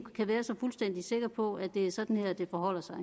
kan være så fuldstændig sikker på at det er sådan her det forholder sig